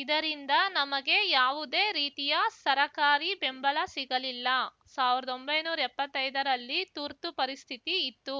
ಇದರಿಂದ ನಮಗೆ ಯಾವುದೇ ರೀತಿಯ ಸರಕಾರಿ ಬೆಂಬಲ ಸಿಗಲಿಲ್ಲ ಸಾವ್ರ್ದೊಂಬೈನೂರ ಎಪ್ಪತ್ತೈದರಲ್ಲಿ ತರ್ತು ಪರಿಸ್ಥಿತಿ ಇತ್ತು